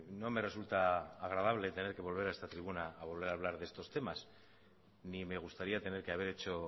no me resulta agradable tener que volver a esta tribuna a volver a hablar de estos temas ni me gustaría tener que haber hecho